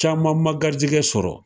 Caman ma garijɛgɛ sɔrɔ.